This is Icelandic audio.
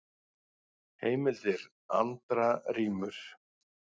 Heimildir: Andra rímur.